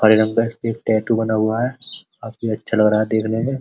हरे रंग का टैटू बना हुआ है काफी अच्छा लग रहा है देखने में --